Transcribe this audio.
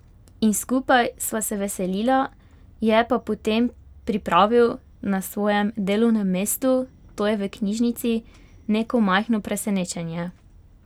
In skupaj sva se veselila, je pa potem pripravil na svojem delovnem mestu, to je v knjižnici, neko majhno presenečenje.